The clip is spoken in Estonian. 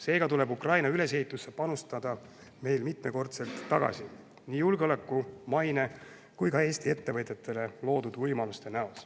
Seega tuleb Ukraina ülesehitusse panustatu meile mitmekordselt tagasi – nii julgeoleku, maine kui ka Eesti ettevõtjatele loodud võimaluste näol.